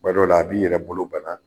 Tuma dɔw la a b'i yɛrɛ bolo bana